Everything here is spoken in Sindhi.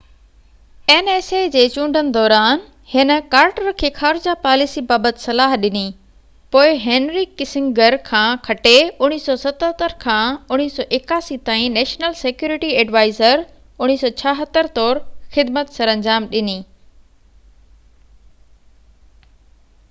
1976 جي چونڊن دوران هن ڪارٽر کي خارجه پاليسي بابت صلاح ڏني، پوءِ هينري ڪسنگر کان کٽي 1977 کان 1981 تائين نيشنل سيڪيورٽي ايڊوائيزر nsa طور خدمت سرانجام ڏني